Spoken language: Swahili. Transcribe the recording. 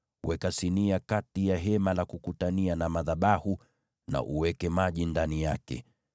weka sinia kati ya Hema la Kukutania na madhabahu, na uweke maji ndani yake.